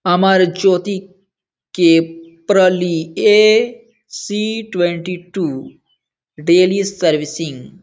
अमर ज्योति के प्रलीए C twenty-two daily servicing.